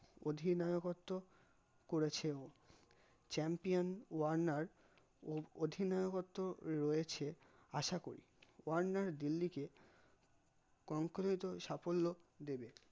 অধিনায়কত্ব করেছেও champion Warner ও অধিনায়কত্ব রয়েছে আশা করি ওয়ার্নার দিল্লিকে concreter সাফল্য দেবে